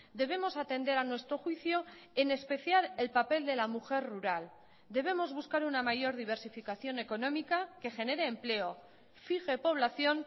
debemos atender a nuestro juicio en especial el papel de la mujer rural debemos buscar una mayor diversificación económica que genere empleo fije población